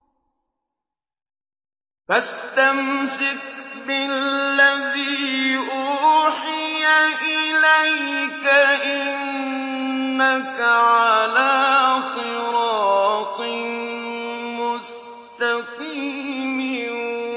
فَاسْتَمْسِكْ بِالَّذِي أُوحِيَ إِلَيْكَ ۖ إِنَّكَ عَلَىٰ صِرَاطٍ مُّسْتَقِيمٍ